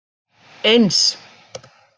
eins